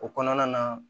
O kɔnɔna na